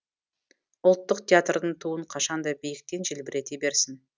ұлттық театрдың туын қашан да биіктен желбірете берсін